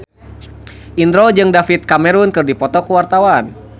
Indro jeung David Cameron keur dipoto ku wartawan